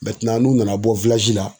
n'u nana bɔ la